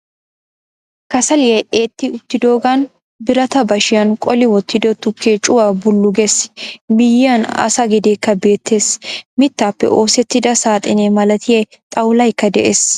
Kasaliya etti uttidoogan biratta bashiyan qoli wottiddo tukkee cuwa bullu gees. Miyayan asa gedeekka beettees. Mittaappe oosettida saxine malatiya xawulaykka de'ees.